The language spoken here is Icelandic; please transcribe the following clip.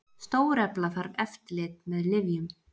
Stórefla þarf eftirlit með lyfjum